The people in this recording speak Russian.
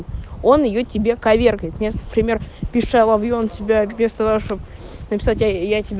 он её тебе коверкает места пример писала и он тебя без того чтобы написать